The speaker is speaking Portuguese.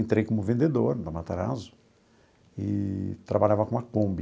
Entrei como vendedor na Matarazzo eee trabalhava com uma Kombi.